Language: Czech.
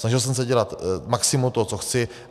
Snažil jsem se dělat maximum toho, co chci.